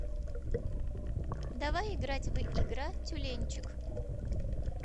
давай играть в игра тюленьчик